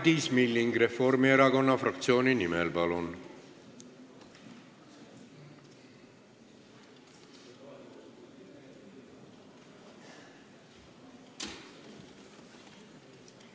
Madis Milling Reformierakonna fraktsiooni nimel, palun!